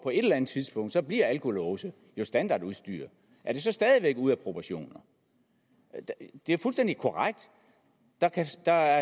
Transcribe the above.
eller andet tidspunkt bliver alkolåse standardudstyr er det så stadig væk ude af proportioner det er fuldstændig korrekt at der